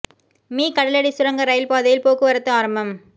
me கடலடி சுரங்க rail பாதையில் போக்குவரத்து ஆரம்பம்